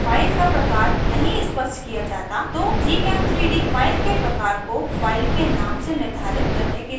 अगर file का प्रकार नहीं स्पष्ट किया जाता तो gchem3d file के प्रकार को file के name से निर्धारित करने के लिए प्रयास करता है